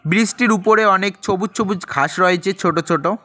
Bridge -টির উপরে অনেক ছবুজ ছবুজ ঘাস রয়েছে ছোটো ছোটো।